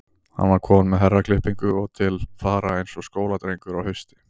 Hann var kominn með herraklippingu og til fara eins og skóladrengur á hausti.